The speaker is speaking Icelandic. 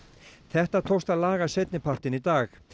þetta tókst að laga seinni partinn í dag